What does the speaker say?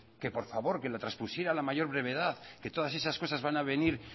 que por favor que la traspusiera a la mayor brevedad que todas esas cosas van a venir